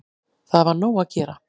Það var nóg að gera